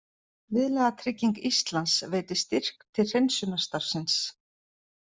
Viðlagatrygging Íslands veitir styrk til hreinsunarstarfsins